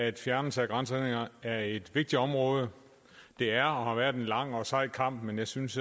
at fjernelse af grænsehindringer er et vigtigt område det er og har været en lang og sej kamp men jeg synes